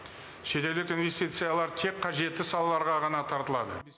шетелдік инвестициялар тек қажетті салаларға ғана тартылады